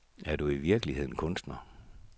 Er du i virkeligheden kunstner?